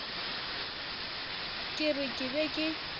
ke re ke be ke